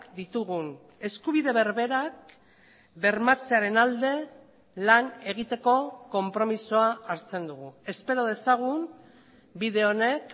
ditugun eskubide berberak bermatzearen alde lan egiteko konpromisoa hartzen dugu espero dezagun bide honek